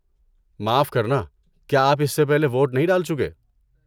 معاف کرنا، کیا آپ اس سے پہلے ووٹ نہیں ڈال چکے؟